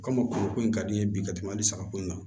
Komi kuluko in ka di n ye bi ka tɛmɛ hali sagako in kan